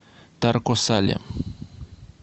тарко сале